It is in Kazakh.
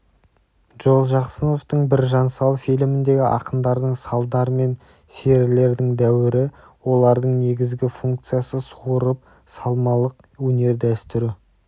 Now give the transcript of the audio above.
джолжақсыновтың біржан сал фильміндегі ақындардың салдар мен серілердің дәуірі олардың негізгі функциясы суырып салмалық өнер дәстүрі